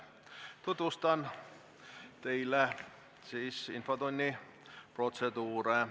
Tutvustan teile infotunni protseduuri.